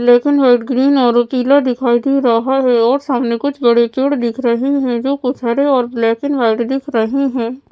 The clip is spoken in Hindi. ब्लैक एंड व्हाईट ग्रीन और पीला दिखाई दे रहा है और सामने कुछ बड़े पेड़ दिख रहे हैं जो कुछ हरे और ब्लैक एंड व्हाईट दिख रहे हैं।